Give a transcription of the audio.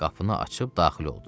Qapını açıb daxil oldu.